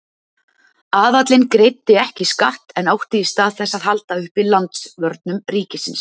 Aðallinn greiddi ekki skatt en átti í stað þess að halda uppi landvörnum ríkisins.